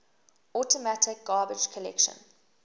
automatic garbage collection